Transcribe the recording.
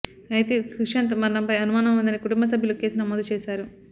అయితే సుశాంత్ మరణంపై అనుమానం ఉందని కుటుంబ సభ్యులు కేసు నమోదు చేశారు